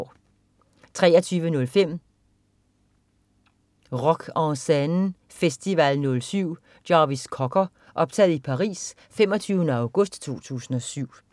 23.05 Rock En Seine festival 07. Jarvis Cocker. Optaget i Paris den 25. august 2007